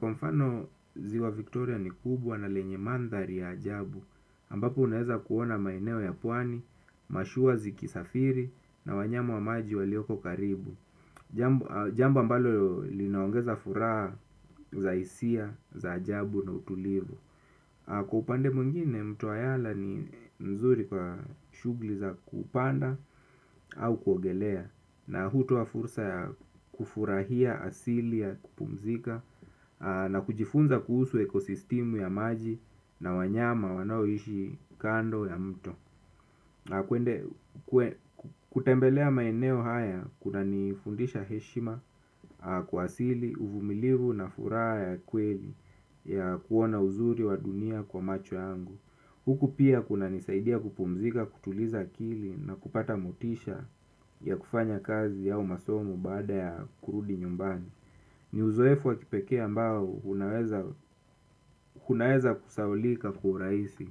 Kwa mfano ziwa Victoria ni kubwa na lenye mandhari ya ajabu ambapo unaeza kuona maeneo ya puani, mashuwa ziki safiri na wanyama wa maji walioko karibu. Jambo ambalo linaongeza furaha za isia, za ajabu na utulivu. Kwa upande mwngine mto wa yala ni mzuri kwa shugli za kupanda au kuogelea na hutoa fursa ya kufurahia asili ya kupumzika na kujifunza kuhusu ekosistimu ya maji na wanyama wanoishi kando ya mto na kuende kutembelea maeneo haya kuna nifundisha heshima kwa asili uvumilivu na furaha ya kweli ya kuona uzuri wa dunia kwa macho yangu huku pia kuna nisaidia kupumzika kutuliza akili na kupata motisha ya kufanya kazi ya au masomo baada ya kurudi nyumbani. Ni uzoefu wa kipekee ambao unaweza kunaweza kusahaulika kwa uraisi.